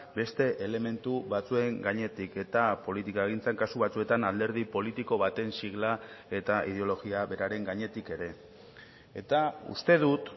beste elementu batzuen gainetik eta politikagintzan kasu batzuetan alderdi politiko baten sigla eta ideologia beraren gainetik ere eta uste dut